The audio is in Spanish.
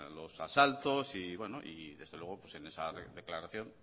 los asaltos y bueno desde luego en esa declaración